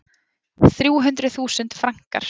Þrjú hundruð þúsund frankar.